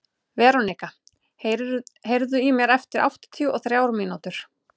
Veronika, heyrðu í mér eftir áttatíu og þrjár mínútur.